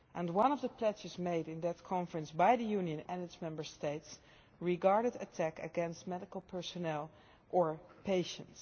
One of the pledges made in that conference by the Union and its Member States regarded attacks against medical personnel or patients.